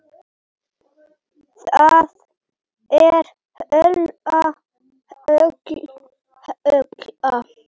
Það er hola, hola, hola.